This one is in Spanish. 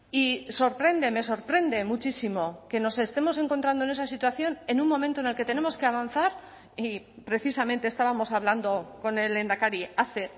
y sorprende me sorprende muchísimo que nos estemos encontrando en esa situación en un momento en el que tenemos que avanzar y precisamente estábamos hablando con el lehendakari hace